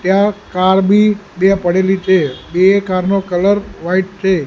ત્યાં કાર બી બે પડેલી છે બે કાર નો કલર વ્હાઇટ છે.